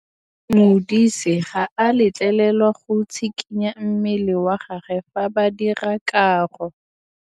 Modise ga a letlelelwa go tshikinya mmele wa gagwe fa ba dira karô.